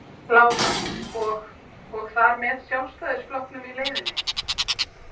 Lára: Og og þar með Sjálfstæðisflokknum í leiðinni?